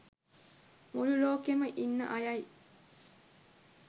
මුළු ලෝකෙම ඉන්න අයයි